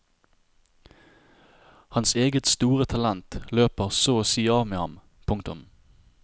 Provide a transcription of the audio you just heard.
Hans eget store talent løper så å si av med ham. punktum